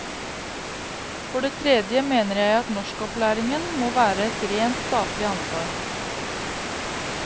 For det tredje mener jeg at norskopplæringen må være et rent statlig ansvar.